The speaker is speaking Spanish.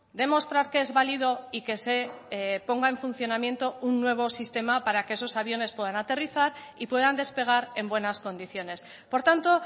demostrar que es válido y que se ponga en funcionamiento un nuevo sistema para que esos aviones puedan aterrizar y puedan despegar en buenas condiciones por tanto